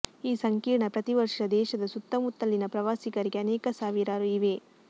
ಈ ಸಂಕೀರ್ಣ ಪ್ರತಿ ವರ್ಷ ದೇಶದ ಸುತ್ತಮುತ್ತಲಿನ ಪ್ರವಾಸಿಗರಿಗೆ ಅನೇಕ ಸಾವಿರಾರು ಇವೆ